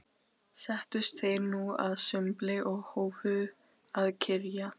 Settust þeir nú að sumbli og hófu að kyrja